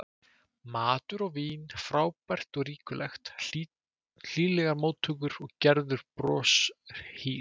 Matur og vín frábært og ríkulegt, hlýlegar móttökur og Gerður broshýr.